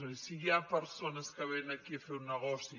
és a dir si hi ha persones que vénen aquí a fer un negoci